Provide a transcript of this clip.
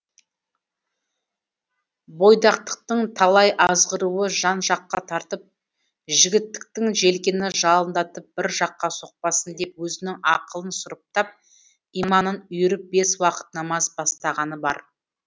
бойдақтықтың талай азғыруы жан жаққа тартып жігіттіктің желкені жалындатып бір жаққа соқпасын деп өзінің ақылын сұрыптап иманын үйіріп бес уақыт намаз бастағаны бар